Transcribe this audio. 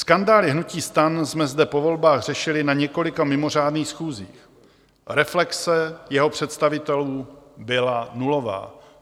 Skandály hnutí STAN jsme zde po volbách řešili na několika mimořádných schůzích, reflexe jeho představitelů byla nulová.